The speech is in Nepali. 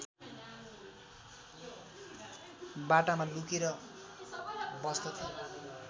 बाटामा लुकेर बस्दथे